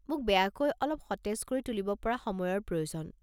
মোক বেয়াকৈ অলপ সতেজ কৰি তুলিব পৰা সময়ৰ প্ৰয়োজন।